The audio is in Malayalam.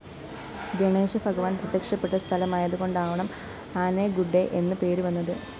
ഗണേശഭഗവാന്‍ പ്രത്യക്ഷപ്പെട്ട സ്ഥലമായതുകൊണ്ടാവണം ആനെഗുഡ്ഡെ എന്ന് പേരുവന്നത്